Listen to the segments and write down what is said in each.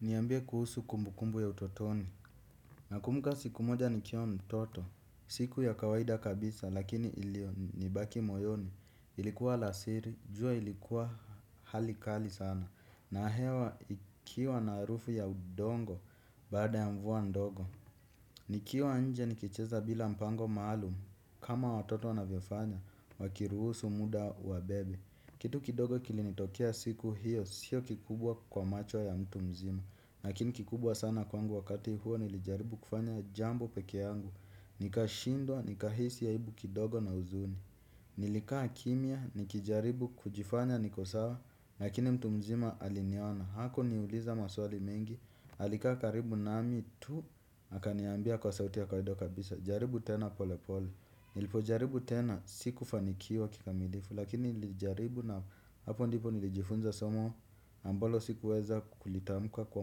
Niambia kuhusu kumbukumbu ya utotoni. Nakumbuka siku moja nikiwa mtoto. Siku ya kawaida kabisa lakini ilio nibaki moyoni. Ilikuwa alasiri, jua ilikuwa hali kali sana na hewa ikiwa na harufu ya udongo. Baada ya mvua ndogo. Nikio anje nikicheza bila mpango maalum kama watoto wanavyofanya wakiruhusu muda uwabebe. Kitu kidogo kilinitokea siku hiyo. Siyo kikubwa kwa macho ya mtu mzima. Lakini kikubwa sana kwangu wakati huo nilijaribu kufanya jambo peke yangu. Nikashindwa, nikahisi aibu kidogo na uzuni. Nilikaa kimia, nikijaribu kujifanya nikosawa. Lakini mtu mzima aliniona, haku niuliza maswali mengi. Alikaa karibu nami tu, akaniambia kwa sauti ya kwaida kabisa. Jaribu tena pole pole. Nilipo jaribu tena, sikufanikiwa kikamilifu. Lakini nilijaribu na hapo ndipo nilijifunza somo ambalo sikuweza kulitamuka kwa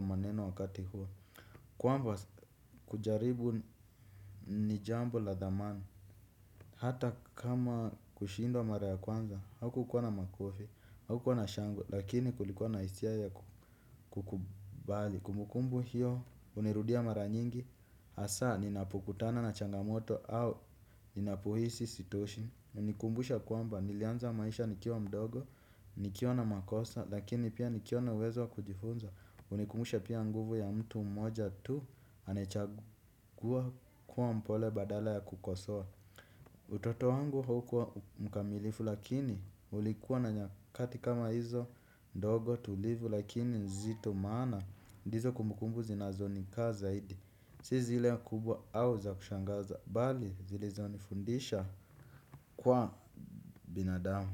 maneno wakati huo kwamba kujaribu ni jambo la dhamani hata kama kushinda mara kwanza haukukwana makofi, haukukuwa na shangwe. Lakini kulikwana isia yaa kukubali. Kumbukumbu hiyo unirudia mara nyingi. Asa ninapokutana na changamoto au ninapohisi sitoshi. Unikumbusha kwamba nilianza maisha nikiwa mdogo nikiwa na makosa lakini pia nikiwa na uwezo wa kujifunza. Unikumbusha pia nguvu ya mtu mmoja tu anayrchagua kuwa mpole badala ya kukosoa. Utoto wangu haukuwa mkamilifu lakini ulikuwa na nyakati kama hizo ndogo tulivu lakini zito maana. Ndizo kumbukumbu zinazonikaa zaidi. Si zile kubwa au za kushangaza bali zilizo nifundisha kuwa binadamu.